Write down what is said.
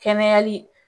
Kɛnɛyali